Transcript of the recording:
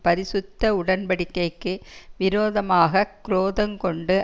பரிசுத்த உடன்படிக்கைக்கு விரோதமாகக் குரோதங் கொண்டு